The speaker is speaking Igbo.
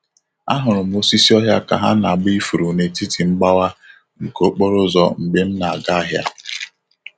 Ahụrụ m osisi ọhịa ka ha na-agba ifuru n'etiti mgbawa nke okporo ụzọ mgbe m na-aga ahịa.